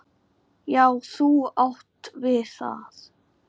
Já, þú átt við það!